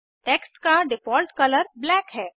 text का default colour black है